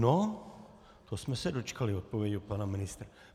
No to jsme se dočkali odpovědi od pana ministra.